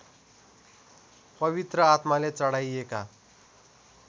पवित्र आत्माले चढाइएका